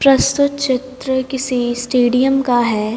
प्रस्तुत चित्र किसी स्टेडियम का है।